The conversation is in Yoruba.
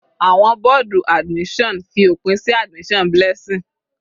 Àwọn bọ́ọ̀dù admission fi òpin sí admission Blessing.